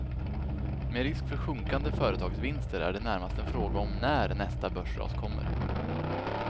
Med risk för sjunkande företagsvinster är det närmast en fråga om när nästa börsras kommer.